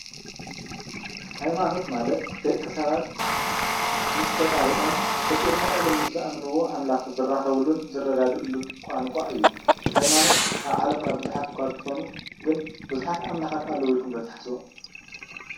ሃይማኖት ማለት ደቂ ሰባት ምስ ፈጣሪኦም ፈጢሩና እዩ ኢሎም ምስ ዝአምንዎ አምላኽ ዝራከብሉን ዝረዳድኡሉን ቋንቋ እዩ ። ሃይማኖት አብ ዓለምና ብዙሓት እኳ እንተኮኑ ግን ብዙሓት አምላኻት አለዉ ኢልኩም ዶ ትሓስቡ ?